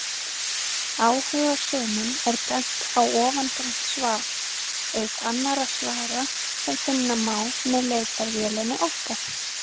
Áhugasömum er bent á ofangreint svar, auk annarra svara sem finna má með leitarvélinni okkar.